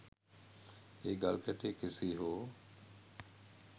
ඒ ගල්කැටය කෙසේ හෝ